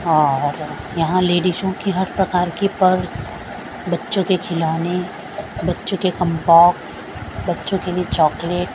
और यहाँ लेडीसो कि हर प्रकार की पर्स बच्चों के खिलौने बच्चों के कॉम्बॉक्स बच्चों के लिए चॉकलेट --